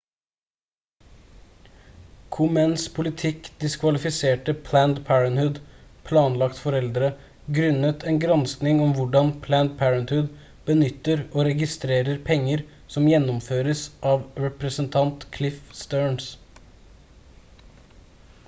komens politikk diskvalifiserte planned parenthood planlagt foreldre grunnet en gransking om hvordan planned parenthood benytter og registrerer penger som gjennomføres av representant cliff stearns